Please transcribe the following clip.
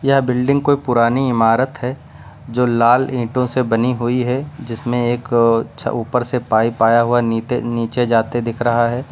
यह बिल्डिंग कोई पुरानी इमारत है जो लाल ईंटों से बनी हुई है जिसमें एक छ ऊपर से पाइप आया हुआ है नीते नीचे जाते दिख रहा है।